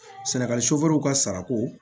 Sɛnɛgali ka sarako